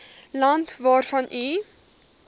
land waarvan u